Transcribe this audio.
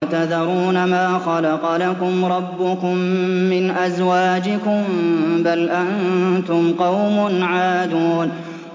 وَتَذَرُونَ مَا خَلَقَ لَكُمْ رَبُّكُم مِّنْ أَزْوَاجِكُم ۚ بَلْ أَنتُمْ قَوْمٌ عَادُونَ